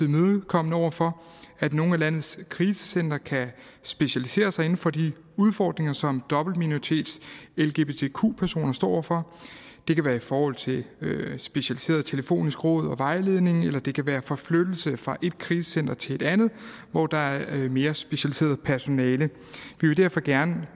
imødekommende over for at nogle af landets krisecentre kan specialisere sig inden for de udfordringer som dobbeltminoritets lgbtq personer står over for det kan være i forhold til specialiseret telefonisk råd og vejledning eller det kan være forflyttelse fra et krisecenter til et andet hvor der er mere specialiseret personale